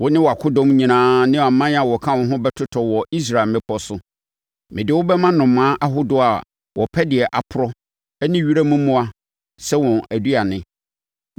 Wo ne wʼakodɔm nyinaa ne aman a wɔka wo ho bɛtotɔ wɔ Israel mmepɔ so. Mede wo bɛma nnomaa ahodoɔ a wɔpɛ deɛ aporɔ ne wiram mmoa sɛ wɔn aduane.